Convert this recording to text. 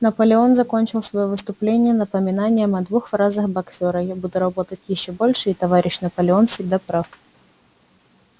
наполеон закончил своё выступление напоминанием о двух фразах боксёра я буду работать ещё больше и товарищ наполеон всегда прав